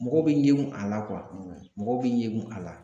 Mɔgɔw bi ɲingu a la kuwa mɔgɔw bi ɲengun a la